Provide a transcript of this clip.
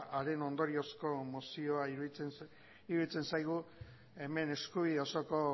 haren ondoriozko mozioa iruditzen zaigu hemen eskubide osoko